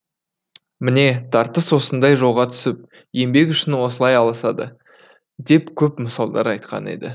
міне тартыс осындай жолға түсіп еңбек үшін осылай алысады деп көп мысалдар айтқан еді